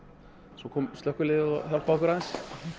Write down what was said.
svo kom slökkviliðið og hjálpaði okkur aðeins